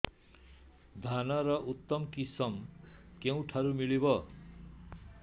ଧାନର ଉତ୍ତମ କିଶମ କେଉଁଠାରୁ ମିଳିବ